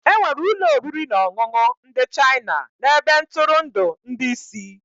Enwere ụlọ oriri na ọṅụṅụ ndị China na ebe ntụrụndụ ndị isi.